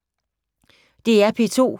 DR P2